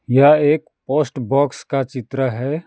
यह एक post box का चित्र है।